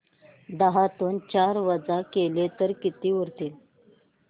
दहातून चार वजा केले तर किती उरतील